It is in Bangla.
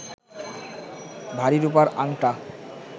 ভারী রূপার আঙটা